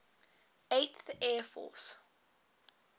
eighth air force